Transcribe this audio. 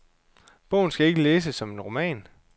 Bogen skal ikke læses som en roman.